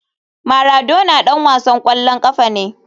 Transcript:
Maradona ɗan wasan ƙwallon ƙafa ne.